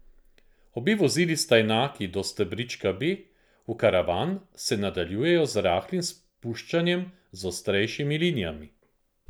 Obe vozili sta enaki do stebrička B, v karavan se nadaljujejo z rahlim spuščanjem z ostrejšimi linijami.